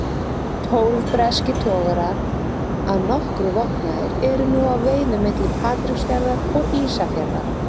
Tólf breskir togarar, að nokkru vopnaðir, eru nú að veiðum milli Patreksfjarðar og Ísafjarðar.